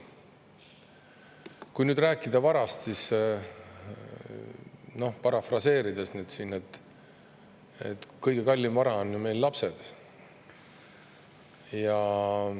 Kui nüüd rääkida varast, siis parafraseerides: kõige kallim vara on meil lapsed.